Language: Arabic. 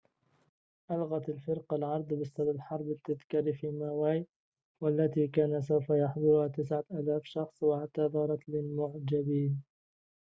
ألغت الفرقة العرض بإستاد الحرب التذكاري في ماوي والتي كان سوف يحضرها 9000 شخص واعتذرت للمعجبين